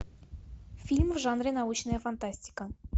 фильм в жанре научная фантастика